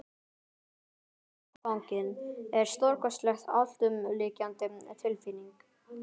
Að verða ástfanginn er stórkostleg, alltumlykjandi tilfinning.